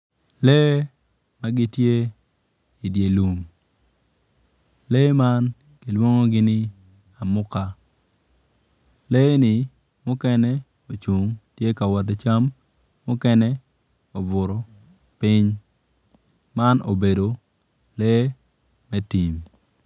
Lee man gitye i dye lum lee man kilwongogi ni amuka. Lee-ni mukene ocung gitye ka wot ki cam mukene obutu piny man obedo lee me tim.